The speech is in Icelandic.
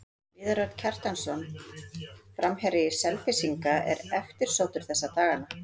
Viðar Örn Kjartansson, framherji Selfyssinga, er eftirsóttur þessa dagana.